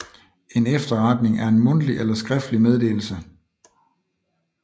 En efterretning er en mundtlig eller skriftlig meddelelse